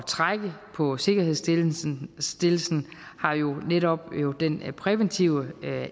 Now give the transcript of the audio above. trække på sikkerhedsstillelsen har jo netop den præventive